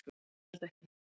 """Nei, ég held ekki."""